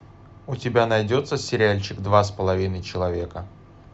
у тебя найдется сериальчик два с половиной человека